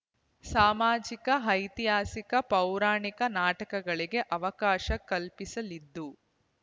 ಸಾಮಾಜಿಕ ಐತಿಹಾಸಿಕ ಪೌರಾಣಿಕ ನಾಟಕಗಳಿಗೆ ಅವಕಾಶ ಕಲ್ಪಿಸಲಿದ್ದು